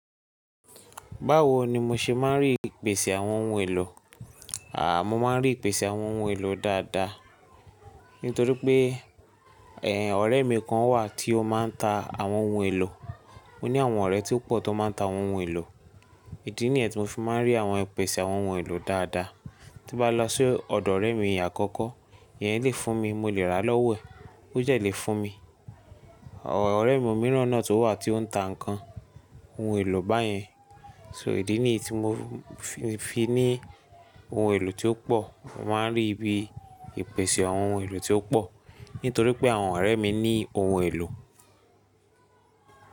Báwo ni mo ṣe máa ń rí ìpèsè àwọn ohun èlò? À, mo máa ń rí ìpèsè àwọn ohun èlò dáadáa. Nítorí pé, ẹ, ọ̀rẹ́ mi kan wà tí ó máa ń ta àwọn ohun èlò. Ó ní àwọn ọ̀rẹ́ tí ó pọ̀ tó máa ń ta àwọn ohun èlò. Ìdí nìyẹn tí mo fi máa ń rí àwọn ìpèsè àwọn ohun èlò dáadáa. Tí bá lọ sí ọ̀dọ̀ ọ̀rẹ́ mi àkọ́kọ́, ìyẹn lè fún mi, mo lè ra lọ́wọ́ ẹ̀. Ó dẹ̀ lè fún mi. Ọ̀rẹ́ mi mìíràn náà tó wà tí ó ń ta ǹkan, ohun èlò báyẹn. So ìdí nìyí tí mo fi ní ohun èlò tí ó pọ̀. Mo máa ń rí ibi ìpèsè àwọn ohun èlò tí ó pọ̀. Nítorí pé àwọn ọ̀rẹ́ mi ní ohun èlò.